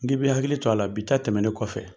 N ŋibi hakili cɔ a la, bi ta tɛmɛnen kɔfɛ